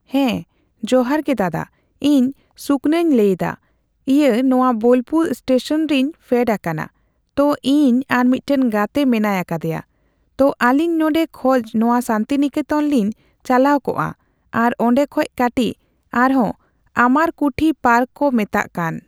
ᱦᱮᱸ, ᱡᱚᱦᱟᱨ ᱜᱮ ᱫᱟᱫᱟ ᱾ ᱤᱧ ᱥᱩᱠᱚᱧᱱᱟᱧ ᱞᱟᱹᱭᱫᱟ, ᱤᱭᱟᱹ ᱱᱚᱣᱟ ᱵᱳᱞᱯᱩᱨ ᱮᱥᱴᱮᱥᱚᱱ ᱨᱮᱧ ᱯᱷᱮᱰ ᱟᱠᱟᱱᱟ ᱾ ᱛᱚ ᱤᱧ ᱟᱨ ᱢᱤᱫᱴᱟᱝ ᱜᱟᱛᱮ ᱢᱮᱱᱟᱭ ᱟᱠᱟᱫᱮᱭᱟ ᱾ ᱛᱚ ᱟᱹᱞᱤᱧ ᱱᱚᱸᱰᱮ ᱠᱷᱚᱡ ᱱᱚᱣᱟ ᱥᱟᱱᱛᱤᱱᱤᱠᱮᱛᱚᱱ ᱞᱤᱧ ᱪᱟᱞᱟᱣ ᱠᱚᱜᱼᱟ ᱾ ᱟᱨ ᱚᱸᱰᱮ ᱠᱷᱚᱡ ᱠᱟᱴᱤᱪ ᱟᱨᱦᱚᱸ ᱟᱢᱟᱨ ᱠᱩᱴᱷᱤ ᱯᱟᱨᱠ ᱠᱚ ᱢᱮᱛᱟᱜ ᱠᱟᱱ